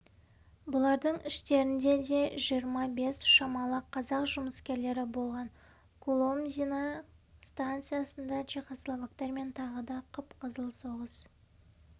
бұлардың іштерінде де жиырма бес шамалы қазақ жұмыскерлері болған куломзино станциясында чехословактармен тағы да қып-қызыл соғыс